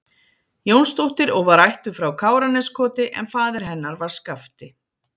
Jónsdóttir og var ættuð frá Káraneskoti en faðir hennar var Skafti